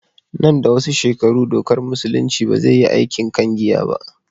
Nan da wasu shekaru dokar musulunci ba zai yi aikin akan giya ba